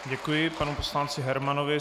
Děkuji panu poslanci Hermanovi.